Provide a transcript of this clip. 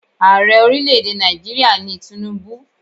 Ààrẹ ọrílẹ̀ èdè Nàìjíríà ni Tinubu.